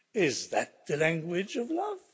Is that the language of love?